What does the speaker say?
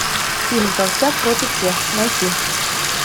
фильм толстяк против всех найти